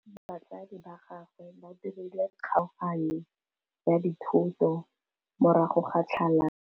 Batsadi ba gagwe ba dirile kgaoganyô ya dithoto morago ga tlhalanô.